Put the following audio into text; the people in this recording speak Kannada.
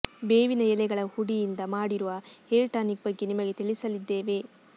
ಬೇವಿನ ಎಲೆಗಳ ಹುಡಿಯಿಂದ ಮಾಡಿರುವ ಹೇರ್ ಟಾನಿಕ್ ಬಗ್ಗೆ ನಿಮಗೆ ತಿಳಿಸಲಿದ್ದೇವೆ